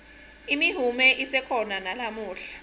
imihume isekhona nalamuhla